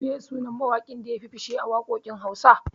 Meye sunan mawaƙin da yafi fishe a waƙoƙin Hausa?